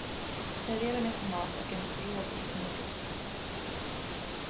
Servera med tomat och en rå bit morot.